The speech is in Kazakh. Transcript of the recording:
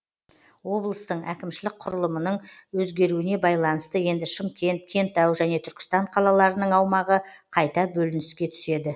облыстың әкімшілік құрылымының өзгеруіне байланысты енді шымкент кентау және түркістан қалаларының аумағы қайта бөлініске түседі